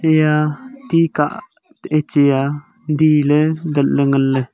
iya tih kah eh cheya dihle datle nganle.